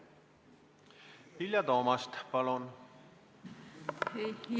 Vilja Toomast, palun!